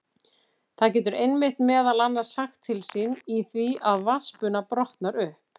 Það getur einmitt meðal annars sagt til sín í því að vatnsbuna brotnar upp.